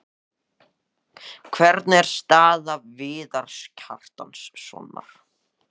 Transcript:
Hvernig er staða Viðars Kjartanssonar?